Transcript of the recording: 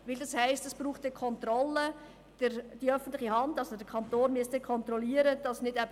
Und damit braucht es Kontrollen, die der Kanton durchführen müsste.